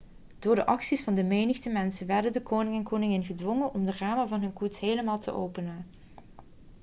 door de acties van de menigte mensen werden de koning en koningin gedwongen om de ramen van hun koets helemaal te openen